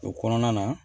O kɔnɔna na